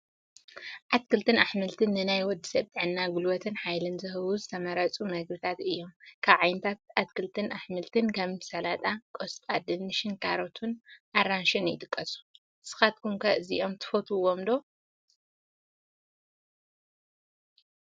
ኣትክልትን ኣሕምልትን፡- ንናይ ወዲ ሰብ ጥዕና ፣ ጉልበትን ሓይልን ዝህቡ ዝተመረፁ ምግብታት እዮም፡፡ ካብ ዓይነታት ኣትክልትን ኣሕምልትን ከም ጠላጣ፣ ቆስጣ፣ ድንሽን፣ ካሮትን ኣራንሽን ይጥቀሱ፡፡ ንስኻትኩም ኣዚኹም እትፈትዎ ዓ/ት ኣትክልትን ኣሕምልትን እንታይ እዩ?